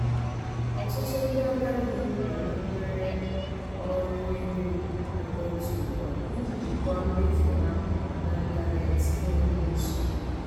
ọtụtụ ndị agadi na-anakwere ọrụ ego ekwentị ugbu a iji jikwaa mmefu ha na ntanetị n'enweghị nsogbu.